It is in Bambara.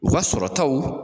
U ka sɔrɔtaw